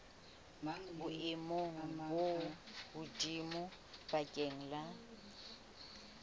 boemong bo hodimo bakeng la